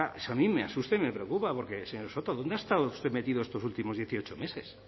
eso a mí me asusta y me preocupa porque señor soto dónde ha estado usted metido estos últimos dieciocho meses